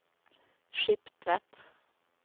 Skiptvet